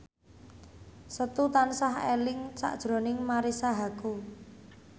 Setu tansah eling sakjroning Marisa Haque